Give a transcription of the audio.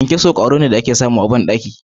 Kyankyaso kwaro ne da ake samu yawanci a bandaki